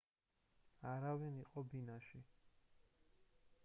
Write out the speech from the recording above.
არავინ იყო ბინაში